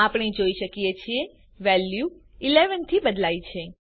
આપણે જોઈ શકીએ છીએ વેલ્યુ 11 થી બદલાઈ છે